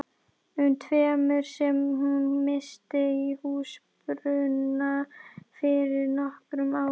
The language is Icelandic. um tveimur sem hún missti í húsbruna fyrir nokkrum árum.